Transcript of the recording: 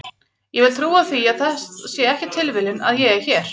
Ég vil trúa því að það sé ekki tilviljun að ég er hér.